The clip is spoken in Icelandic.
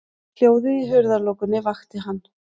Hljóðið í hurðarlokunni vakti hann.